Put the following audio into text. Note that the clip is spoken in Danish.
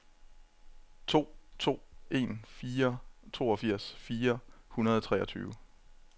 to to en fire toogfirs fire hundrede og treogtyve